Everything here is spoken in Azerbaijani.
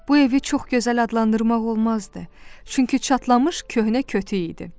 Bu evi çox gözəl adlandırmaq olmazdı, çünki çatlamış köhnə kötük idi.